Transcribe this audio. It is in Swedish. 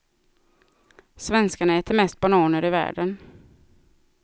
Svenskarna äter mest bananer i världen.